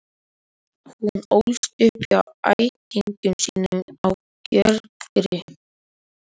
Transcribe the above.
Ekkert ég á kvenfólk kunni, konunni ég einni unni.